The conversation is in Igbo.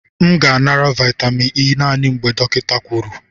M ga-anara vitamin E naanị mgbe dọkịta kwuru.